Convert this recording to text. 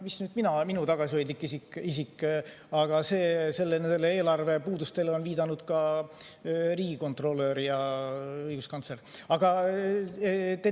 Mis nüüd mina, minu tagasihoidlik isik, aga sellele eelarve puudusele on viidanud ka riigikontrolör ja õiguskantsler.